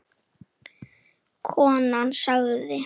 Konan sagði